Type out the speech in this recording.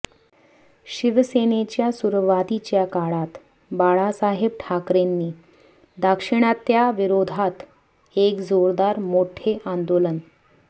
शिवसेनेच्या सुरुवातीच्या काळात बाळासाहेब ठाकरेंनी दाक्षिणात्यांविरोधात एक जोरदार मोठे आंदोलन